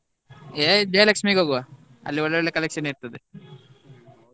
ಏ Jayalakshmi ಗೆ ಹೋಗುವ ಅಲ್ಲಿ ಒಳ್ಳೆ ಒಳ್ಳೆ collection ಇರ್ತದೆ.